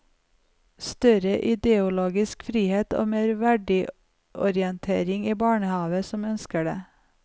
Større ideologisk frihet og mer verdiorientering i barnehaver som ønsker det.